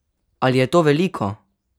Ali je to veliko?